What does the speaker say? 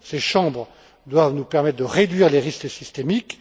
Ces chambres doivent nous permettre de réduire les risques systémiques.